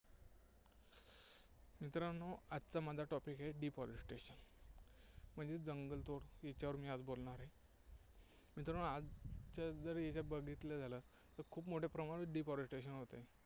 मित्रांनो, आजचा माझा topic आहे deforestation म्हणजे जंगलतोड, ज्याच्यावर मी आज बोलणार आहे. मित्रांनो, आजचं जर हे बघितलं झालं, तर खूप मोठ्या प्रमाणात deforestation होत आहे.